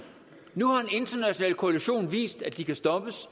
nu har en international koalition vist at de kan stoppes